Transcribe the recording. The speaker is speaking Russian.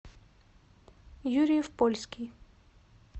юрьев польский